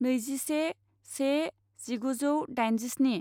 नैजिसे से जिगुजौ दाइनजिस्नि